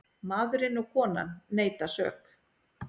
Maðurinn og konan neita sök.